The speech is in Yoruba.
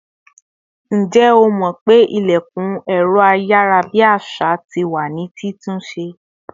Ǹjẹ́ o mó pé ilẹ̀kùn ẹ̀rọ ayarabi àṣà tí wá ní ti tún ṣe